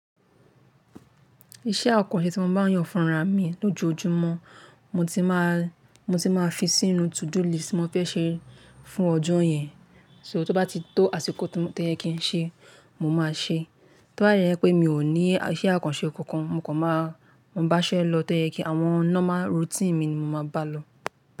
Iṣẹ́ àkànṣe tí wọ́n má a ń yàn fún ra mi lójoójúmọ́ mo ti má, mo ti má a fi sínú to do list tí mo fẹ́ ṣe fún ọjọ́ yẹn. So tó bá ti tó àsìkò tó yẹ kí n ṣe, mo má a ṣe. Tó ba de jẹ́ pé mi ò ní iṣẹ́ àkànṣe kankan, mo kàn má a, mo bá iṣẹ́ lọ tó yẹ kí àwọn normal routine mi ni mo máa bá lọ.